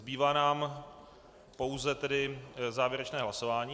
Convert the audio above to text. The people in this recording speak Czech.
Zbývá nám pouze tedy závěrečné hlasování.